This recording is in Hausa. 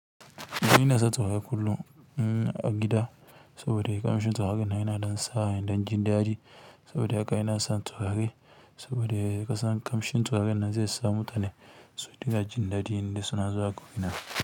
Ni inasa turare kullum a gida saboda ƙamshin tsurarren nan yana ɗan sani jin daɗi saboda haka ina son turare saboda kasan ƙamshin turaren nan zai sa mutane su dinga jin daji indai suna zuwa gurina.